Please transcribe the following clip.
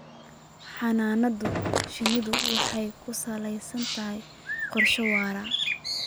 Xannaanada shinnidu waxay ku salaysan tahay qorshe waara.